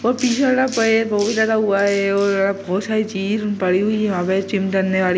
और बहोत ज्यादा हुआ है और बहोत सारी चीज हुन पड़ी हुई है वहां पे जिम करने वाली-----